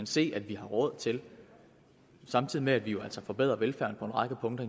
se at vi har råd til dem samtidig med at vi forbedrer velfærden på en række punkter